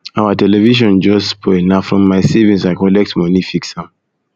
our television just spoil na from my savings i collect moni fix am fix am